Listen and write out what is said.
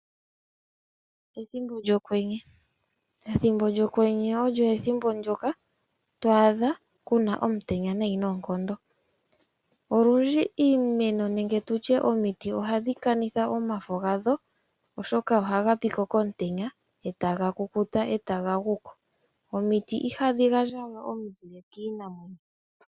Ethimbo lyokwenye, ethimbo lyokwenye olyo ethimbo ndyoka to adha kuna omutenya nayi noonkondo, olundji iimeno nenge tutye omiti ohadhi kanitha omafo gadho oshoka oha gapiko komutenya etaga kukuta eta ga guko, omiti iha dhi gandjawe omuzile kiinamwenyo.